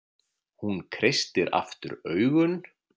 Hún kreistir aftur augun.